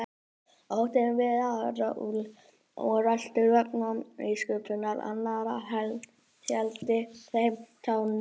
Óttinn við að verða úreltur vegna nýsköpunar annarra héldi þeim á tánum.